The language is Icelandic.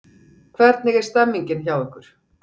Hvernig er stemmingin hjá ykkur?